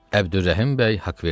Əbdürrəhim bəy Haqverdiyev.